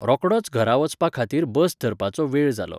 रोखडोच घरा वचपा खातीर बस धरपाचो वेळ जालो.